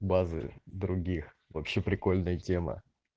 базы других вообще прикольная тема